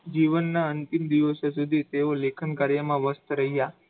જીવનના અંતિમ દિવસો સુધી તેઓ લેખનકાર્યમાં વશ રહી ગયા.